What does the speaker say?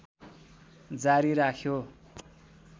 जारी राख्यो